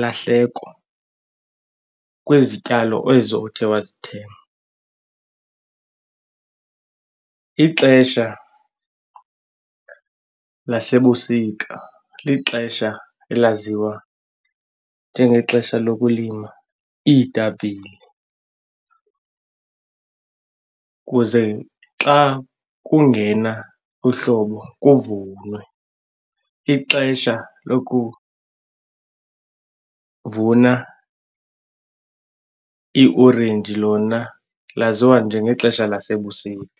lahleko kwezityalo ezo othe wazithenga. Ixesha lasebusika lixesha elaziwa njengexesha lokulima iitapile kuze xa kungena uhlobo kuvunwe. Ixesha lokuvuna iiorenji lona laziwa njengexesha lasebusika.